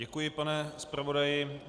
Děkuji, pane zpravodaji.